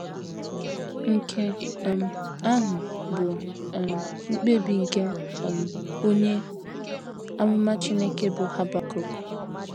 Nke um ahụ bụ um mkpebi nke um onye amụma Chineke bụ́ Habakuk.